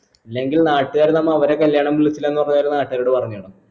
ഇല്ലെങ്കിൽ നാട്ടുകാർ നമ്മ അവരെ കല്യാണം വിളിച്ചില്ലാന്ന് പറഞ്ഞ് വേറെ നാട്ടുകാരോട് പറഞ്ഞ് നടന്ന്